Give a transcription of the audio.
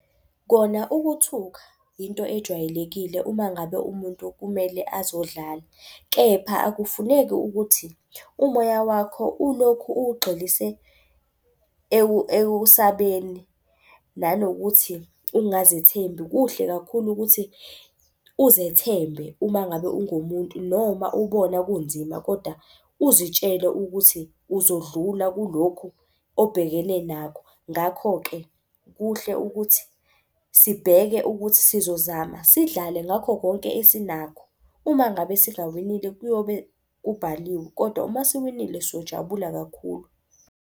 Kona ukuthuka into ejwayelekile uma ngabe umuntu kumele azodlala. Kepha akufuneki ukuthi umoya wakho ulokhu owugxilise ekusabeni nanokuthi ungazithembi. Kuhle kakhulu ukuthi uzethembe uma ngabe ungomuntu. Noma ubona kunzima koda uzitshele ukuthi uzodlula kulokho obhekene nakho. Ngakho-ke kuhle ukuthi sibheke ukuthi sizozama sidlale ngakho konke esinakho. Uma ngabe singawinile kuyobe kubhaliwe, kodwa uma siwinile siyojabula kakhulu.